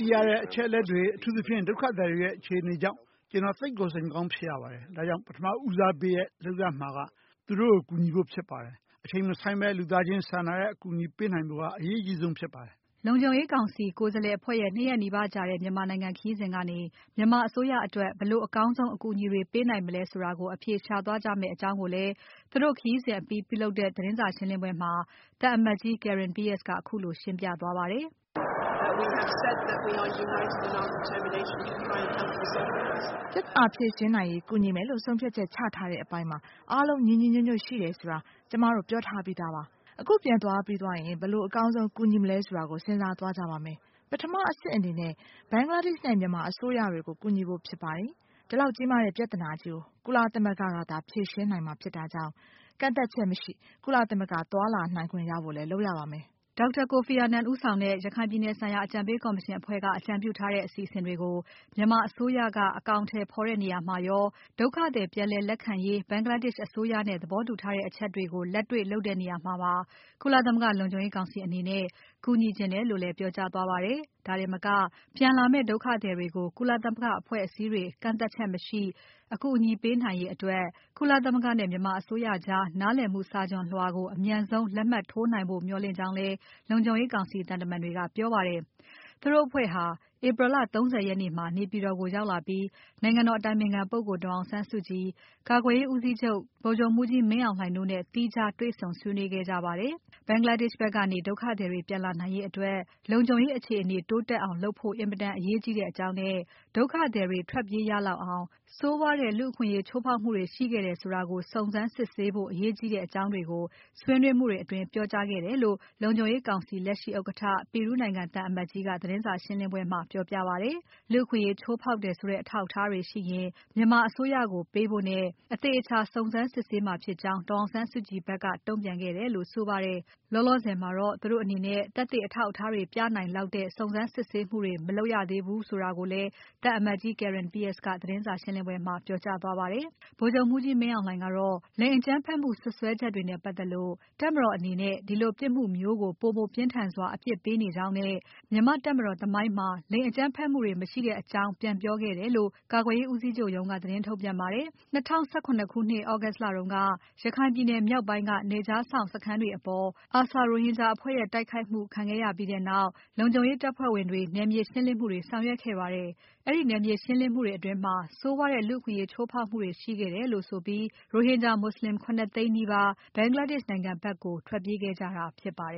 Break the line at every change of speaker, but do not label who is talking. သိရတဲ့အချက်အလက်တွေ။ အထူးသဖြင့် ဒုက္ခသည်တွေရဲ့ အခြေအနေကြောင့် ကျွန်တော်သိပ်ကို စိတ်မကောင်းဖြစ်ရပါတယ်။ ဒါကြောင့် ပထမဦးစားပေးလုပ်ရမှာက သူတို့ကို ကူညီဖို့ဖြစ်ပါတယ်။ အချိန်မဆိုင်းဘဲ လူသားချင်းစာနာတဲ့အကူအညီပေးနိုင်ဖို့က အရေးအကြီးဆုံးဖြစ်ပါတယ်။" လုံခြုံရေးကောင်စီ ကိုယ်စားလှယ်အဖွဲ့ရဲ့ ၂ ရက်နီးပါးကြာတဲ့ မြန်မာနိုင်ငံခရီးစဉ်ကနေ မြန်မာအစိုးရအတွက် ဘယ်လိုအကောင်းဆုံး အကူအညီတွေ ပေးနိုင်မလဲဆိုတာကို အဖြေရှာသွားကြမယ့်အကြောင်းကိုလည်း သူတို့ခရီးစဉ်အပြီး ပြုလုပ်တဲ့ သတင်းစာရှင်းပွဲမှာ သံအမတ်ကြီး Karen Pierce က ခုလို ရှင်းပြသွားပါတယ်။ "
ပြဿနာဖြေရှင်နိုင်ရေး ကူညီမယ်လို့ ဆုံးဖြတ်ချက်ချထားတဲ့အပိုင်းမှာ အားလုံးညီညီညွတ်ညွတ်ရှိတယ်ဆိုတာ ကျွန်မတု့ိ ပြောထားပြီးသားပါ။ အခုပြန်သွားပြီးရင် ဘယ်လိုအကောင်းဆုံး ကူညီမလဲဆိုတာကို စဉ်းစားသွားကြပါမယ်။ ပထမအဆင့်အနေနဲ့ Bangladesh နဲ့ မြန်မာအစိုးရတွေကို ကူညီဖို့ဖြစ်ပါတယ်။ ဒီလောက်ကြီးမားတဲ့ပြဿနာကြီးကို ကုလသမဂ္ဂကသာ ဖြေရှင်းနိုင်မှာဖြစ်တာကြောင့် ကန့်သတ်ချက်မရှိ ကုလသမဂ္ဂ သွားလာနိုင်ခွင့်ရဖို့လည်း လုပ်ရပါမယ်။" Dr. Kofi Annan ဦးဆောင်တဲ့ ရခိုင်ပြည်နယ်ဆိုင်ရာ အကြံ
ပေးကော်မရှင်အဖွဲ့က အကြံပြုထားတဲ့ အစီအစဉ်တွေကို မြန်မာအစိုးရက အကောင်အထည်ဖော်တဲ့နေရာမှာရော။ ဒုက္ခသည်ပြည်လည် လက်ခံရေး Bangladesh အစိုးရနဲ့ သဘောတူထားတဲ့အချက်တွေကို လက်တွေ့လုပ်တဲ့နေရာမှာပါ။ ကုလသမဂ္ဂလုံခြုံရေးကောင်စီအနေနဲ့ ကူညီချင်တယ်လို့လည်း ပြောကြားသွားပါတယ်။ ဒါတင်မက ပြန်လာမယ့် ဒုက္ခသည်တွေကို ကုလသမဂ္ဂအဖွဲ့အစည်းတွေ ကန့်သတ်ချက်မရှိ အကူအညီပေးရေးအတွက် ကုလသမဂ္ဂနဲ့ မြန်မာအစိုးရကြား နားလည်မှုစာချွန်လွှာကို အမြန်ဆုံး လက်မှတ်ထိုးနိုင်ဖို့ မျှော်လင့်ကြောင်းလည်း လုံခြုံရေးကောင်စီသံတမန်တွေက ပြောပါတယ်။ သူတို့အဖွဲ့ဟာ April လ ၃၀ ရက်နေ့မှာ နေပြည်တော်ကို ရောက်လာပြီး နိုင်ငံတော် အတိုင်ပင်ခံပုဂ္ဂိုလ် ဒေါ်အောင်ဆန်းစုကြည်။ ကာကွယ်ရေးဦးစီးချုပ် ဗိုလ်ချုပ်မှူးကြီးမင်းအောင်လှိုင်တို့နဲ့ သီးခြားတေ့ွဆုံဆွေးနွေးခဲ့ကြပါတယ်။ Bangladesh ဖက်ကနေ ဒုက္ခသည်တွေ ပြန်လာနိုင်ရေးအတွက် လုံခြုံရေးအခြေအနေတိုးတက်အောင် လုပ်ဖို့ အင်မတန်အရေးကြီးတဲ့အကြောင်းနဲ့ ဒုက္ခသည်တွေ ထွက်ပြေးရလောက်အောင် ဆိုးဝါးတဲ့လူ့အခွင့်အရေးချိုးဖောက်မှုတွေရှိခဲ့တယ်ဆိုတာကို စုံစမ်းစစ်ဆေးဖို့ အရေးကြီးတဲ့အကြောင်းတွေကို ဆွေးနွေးမှုတွေအတွင်း ပြောကြားခဲ့တယ်လို့ လုံခြုံရေးကောင်စီလက်ရှိဥက္ကဋ္ဌ Peru နိုင်ငံ သံအမတ်ကြီးက သတင်းစာရှင်းပွဲမှာ ပြောပြပါတယ်။ လူ့အခွင့်အရေးချိုးဖောက်တယ်ဆိုတဲ့ အထောက်အထားတွေရှိရင် မြန်မာအစိုးရကိုပေးဖို့နဲ့ အသေအချာ စုံစမ်းစစ်ဆေးမှာဖြစ်ကြောင်း ဒေါ်အောင်ဆန်းစုကြည်ဖက်က တုံ့ပြန်ခဲ့တယ်လို့ ဆိုပါတယ်။ လောလောဆယ်မှာတော့ သူတို့အနေနဲ့ သက်သေအထောက်အထားတွေ ပြနိုင်လောက်တဲ့ စုံစမ်းစစ်ဆေးမှုတွေ မလုပ်ရသေးဘူးဆိုတာကိုလည်း သံအမတ်ကြီး Karen Pierce က သတင်းစာရှင်းပွဲမှာ ပြောကြားသွားခဲ့ပါတယ်။ ဗိုလ်ချုပ်မှူးကြီးမင်းအောင်လှိုင်ကတော့ လိင်အကြမ်းဖက်မှု စွပ်စွဲချက်တွေနဲ့ပါတ်သက်လို့ တပ်မတော်အနေနဲ့ ဒီလိုပြစ်မှုမျိုးကို ပိုမိုပြင်းထန်စွာ အပြစ်ပေးနေကြောင်းနဲ့။ မြန်မာ့တပ်မတော် သမိုင်းကြောင်းမှာ လိင်အကြမ်းဖက်မှုတွေ မရှိတဲ့အကြောင်းတွေ ပြန်ပြောခဲ့တယ်လို့ ကာကွယ်ရေးဦးစီးချုပ်ရုံးက သတင်းထုတ်ပြန်ပါတယ်။ ၂၀၁၇ ခုနှစ် August လတုန်းက ရခိုင်ပြည်နယ်မြောက်ပိုင်းက နယ်ခြားစောင့်စခန်းတွေအပေါ် ARSA ရိုဟင်ဂျာ အကြမ်းဖက်အဖွဲ့ရဲ့ တိုက်ခိုက်မှု ခံရပြီးနောက် လုံခြုံရေးတပ်ဖွဲ့ဝင်တွေ နယ်မြေရှင်းလင်းမှုတွေ ဆောင်ရွက်ခဲ့ပါတယ်။ အဲဒီနယ်မြေရှင်းလင်းမှုတွေအတွင်း ဆိုးဝါးတဲ့လူ့အခွင့်အရေးချိုးဖောက်မှုတွေရှိခဲ့တယ်လို့ဆိုပြီး ရိုဟင်ဂျာမွတ်ဆလင် ၇ သိန်းနီးပါး Bangladesh နိုင်ငံဖက်ကို ထွက်ပြေးခဲ့ကြတာဖြစ်ပါတယ်